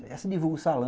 Aí você divulga o sa